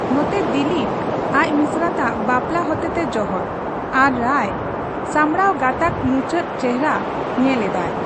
ᱱᱚᱛᱮ, ᱫᱤᱞᱤᱯ ᱟᱡ ᱢᱤᱥᱨᱟᱛᱟᱜ ᱵᱟᱯᱞᱟ ᱦᱚᱛᱮᱛᱮ ᱡᱚᱦᱚᱲ, ᱟᱨ ᱨᱟᱭ ᱥᱟᱢᱲᱟᱣ ᱜᱟᱛᱟᱠ ᱢᱩᱪᱟᱹᱛ ᱪᱮᱦᱨᱟ ᱧᱮᱞ ᱮᱫᱟᱭ ᱾